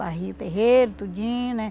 Varria o terreiro, tudinho, né?